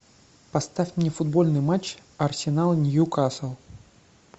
поставь мне футбольный матч арсенал ньюкасл